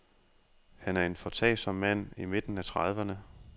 Han er en foretagsom mand i midten af trediverne.